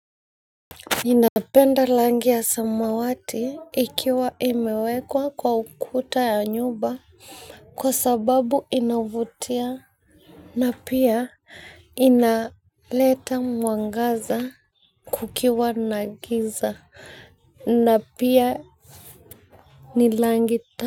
Inapenda langi ya samawati, ikiwa imewekwa kwa ukuta ya nyumba kwa sababu inavutia. Na pia, inaleta mwangaza kukiwa na giza. Na pia ni langi.